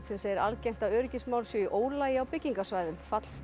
segir algengt að öryggismál séu í ólagi á byggingarsvæðum